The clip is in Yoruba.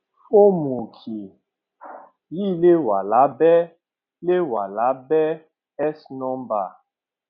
form òkè yìí lè wà lábẹ lè wà lábẹ s number